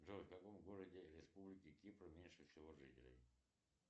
джой в каком городе республики кипр меньше всего жителей